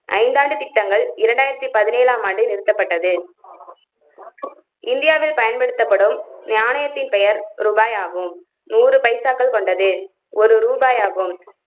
ஐந்தாண்டு திட்டங்கள் இரண்டாயிரத்தி பதினேழாம் ஆண்டே நிறுத்தப்பட்டது. இந்தியாவில் பயன்படுத்தப்படும் நாணயத்தின் பெயர் ரூபாய் ஆகும். நூறு பைசாக்கள் கொண்டது ஒரு ரூபாய் ஆகும்.